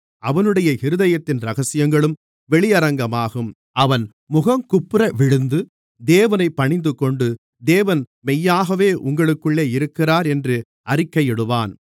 அவனுடைய இருதயத்தின் இரகசியங்களும் வெளியரங்கமாகும் அவன் முகங்குப்புறவிழுந்து தேவனைப் பணிந்துகொண்டு தேவன் மெய்யாக உங்களுக்குள்ளே இருக்கிறார் என்று அறிக்கையிடுவான்